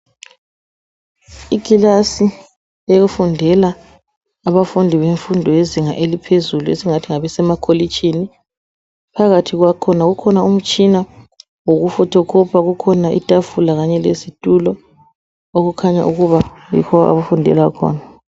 Ikilasi efundela abafundi bemfundo yezinga laphezulu esingathi ngabe makolitshini, phakathi kwakhona kukhona umtshina wokufothokhopha kukhona itafula kanye lezitulo okukhanya ukuba yikho abafundela khona.